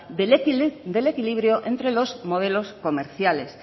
del equilibrio entre los modelos comerciales